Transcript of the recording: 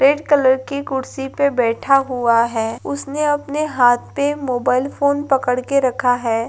red colour की कुर्सी पर बैठा हुआ है उसने अपने हाथ पर मोबाइल फोन पकड़ कर रखा है|